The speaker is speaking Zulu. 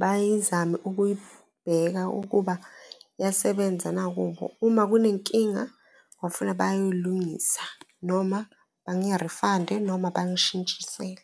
bayizame ukuyibheka ukuba iyasebenza na kubo? Uma kunenkinga kwafuna bayoyilungisa noma bangi-refund-e noma bangishintshisele.